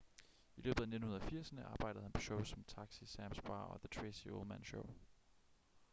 i løbet af 1980'erne arbejdede han på shows som taxi sams bar og the tracey ullman show